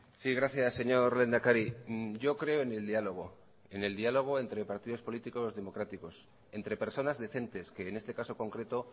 sí gracias señor lehendakari yo creo en el diálogo en el diálogo entre partidos políticos democráticos entre personas decentes que en este caso concreto